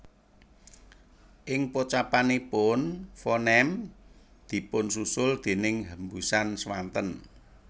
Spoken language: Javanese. Ing pocapanipun fonem dipunsusul déning hembusan swanten